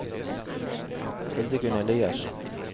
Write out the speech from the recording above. Hildegunn Eliassen